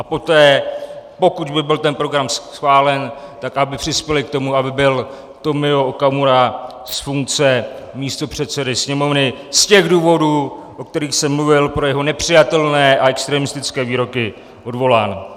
A poté, pokud by byl ten program schválen, tak aby přispěli k tomu, aby byl Tomio Okamura z funkce místopředsedy Sněmovny z těch důvodů, o kterých jsem mluvil, pro jeho nepřijatelné a extremistické výroky, odvolán.